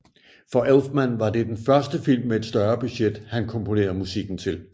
For Elfman var det den første film med et større budget han komponerede musikken til